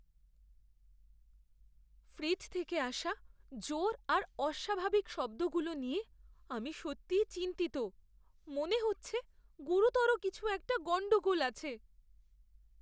Fridge থেকে আসা জোর আর অস্বাভাবিক শব্দগুলো নিয়ে আমি সত্যিই চিন্তিত, মনে হচ্ছে গুরুতর কিছু একটা গণ্ডগোল আছে।